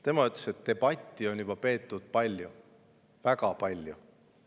Tema ütles, et debatti on juba peetud palju, väga palju.